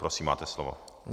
Prosím, máte slovo.